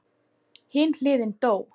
Hin hliðin dó.